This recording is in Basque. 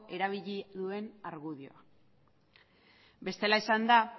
erabili duen argudioa bestela esanda